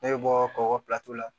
Ne bɛ bɔ kɔgɔ la